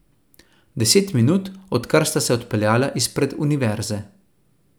Deset minut, odkar sta se odpeljala izpred univerze.